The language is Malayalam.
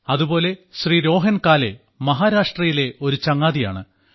അതുപോലെ ശ്രീ രോഹൻ കാലേ മഹാരാഷ്ട്രയിലെ ഒരു ചങ്ങാതിയാണ്